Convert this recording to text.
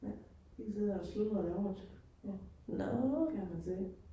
Ja, de sidder og sludrer derovre. Ja, kan man se